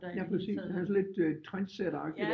Ja præcis han er sådan lidt øh trendsætteragtig